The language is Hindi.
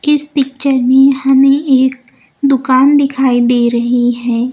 इस पिक्चर में हमें एक दुकान दिखाई दे रही है।